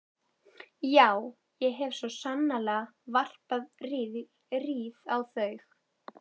Já, ég hef svo sannarlega varpað rýrð á þau.